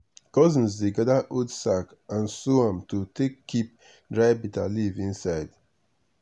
cousins dey gather old sack and sew am to take keep dry bitterleaf inside.